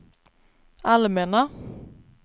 allmänna